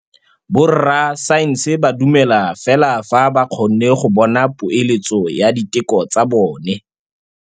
Borra saense ba dumela fela fa ba kgonne go bona poeletsô ya diteko tsa bone.